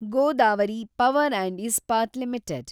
Godavari power and Ispat limited